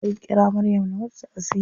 Zan ƙira maryam na mata taʼaziya.